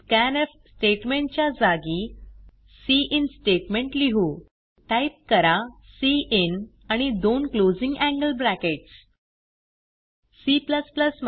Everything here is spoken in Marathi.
स्कॅन्फ स्टेटमेंट च्या जागी सिन स्टेटमेंट लिहू टाईप करा सिन आणि दोन क्लोजिंग एंगल ब्रॅकेट्स